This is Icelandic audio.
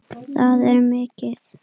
Það er mikið!